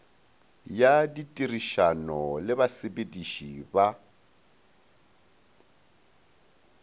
ya ditirišano le basepediši ba